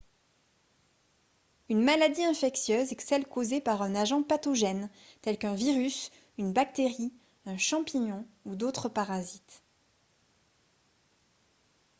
une maladie infectieuse est celle causée par un agent pathogène tel qu'un virus une bactérie un champignon ou d'autres parasites